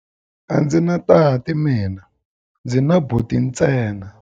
A ndzi na tati mina, ndzi na buti ntsena.